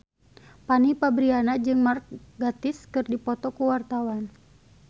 Fanny Fabriana jeung Mark Gatiss keur dipoto ku wartawan